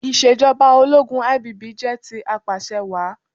Ìṣèjọba ológun IBB jẹ́ ti Apàṣẹwàá.